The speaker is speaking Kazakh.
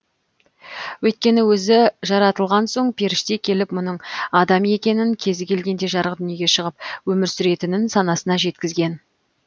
өйткені өзі жаратылған соң періште келіп мұның адам екенін кезі келгенде жарық дүниеге шығып өмір сүретінін санасына жеткізген